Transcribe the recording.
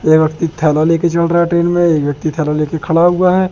ये व्यक्ति थैला ले के चल रहा है ट्रेन में एक व्यक्ति थैला ले के खड़ा हुआ है।